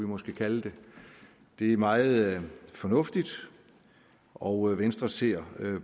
måske kalde det det er meget fornuftigt og venstre ser